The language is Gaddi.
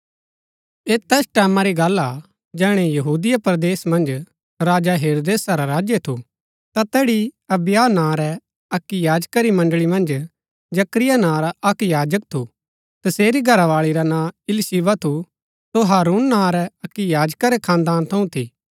ऐह तैस टैमां री गल्ल हा जैहणै यहूदिया परदेसा मन्ज राजा हेरोदेसा रा राज्य थू ता तैड़ी अबिय्याह नां रै अक्की याजका री मण्ड़ळी मन्ज जकरिया नां रा अक्क याजक थू तसेरी घरावाळी रा नां इलीशिबा थू सो हारून नां रै अक्की याजका रै खानदाना थऊँ थी